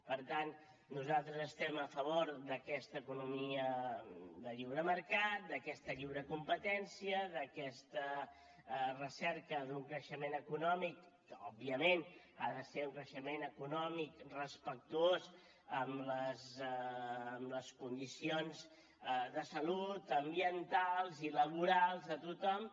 per tant nosaltres estem a favor d’aquesta economia de lliure mercat d’aquesta lliure competència d’aquesta recerca d’un creixement econòmic que òbviament ha de ser un creixement econòmic respectuós amb les condicions de salut ambientals i laborals de tothom